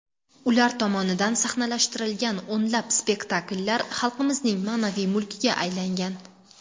Ular tomonidan sahnalashtirilgan o‘nlab spektakllar xalqimizning ma’naviy mulkiga aylangan.